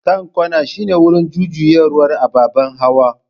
Kan kwana shine wurin jujjuyawar ababen hawa.